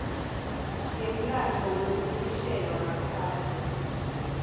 yemlandvo wekukhishelwa ngaphandle